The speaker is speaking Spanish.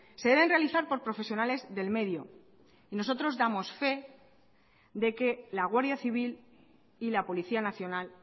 se deben realizar por profesionales del medio y nosotros damos fe de que la guardia civil y la policía nacional